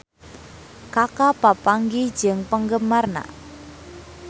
Kaka papanggih jeung penggemarna